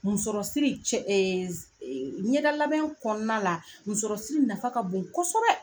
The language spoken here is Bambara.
Musɔrɔsiri cɛ ɲɛda labɛn kɔɔna la musɔrɔsiri nafa ka bon kɔsɛbɛ.